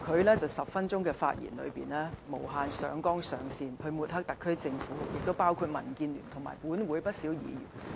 他在10分鐘的發言中，無限上綱上線抹黑特區政府，亦抹黑民建聯及本會不少議員。